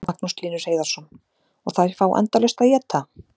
Magnús Hlynur Hreiðarsson: Og þær fá endalaust að éta?